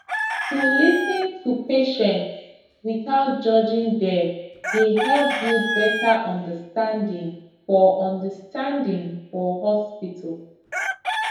to lis ten to patients without judging dem dey help build better understanding for understanding for hospital